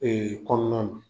kɔnɔna